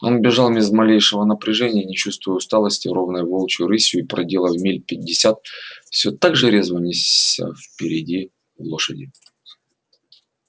он бежал без малейшего напряжения не чувствуя усталости ровной волчьей рысью и проделав миль пятьдесят всё так же резво нёсся впереди лошади